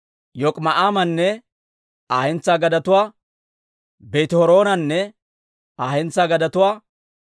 Yok'ima'aamanne Aa hentsaa gadetuwaa, Beeti-Horoonanne Aa hentsaa gadetuwaa,